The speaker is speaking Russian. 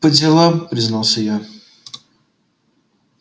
по делам признался я